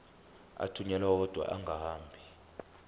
athunyelwa odwa angahambi